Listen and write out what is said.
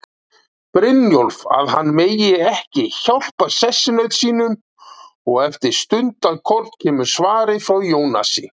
Brynjólf að hann megi ekki hjálpa sessunaut sínum, og eftir stundarkorn kemur svarið frá Jónasi